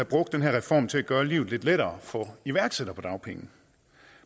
brugt den her reform til at gøre livet lidt lettere for iværksættere på dagpenge